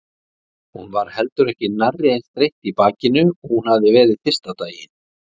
Hún var heldur ekki nærri eins þreytt í bakinu og hún hafði verið fyrsta daginn.